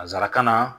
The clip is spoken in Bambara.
Nansarakan na